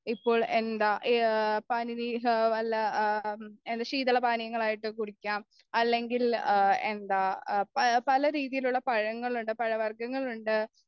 ഇപ്പോ എന്താ എ പനിനീർ വല്ല ശീതളപാനീയങ്ങളായിട്ട് കുടിക്കാം അല്ലെങ്കിൽ എന്താ പലരീതിയിലുള്ള പഴങ്ങളുണ്ട് പഴവർഗങ്ങളുണ്ട്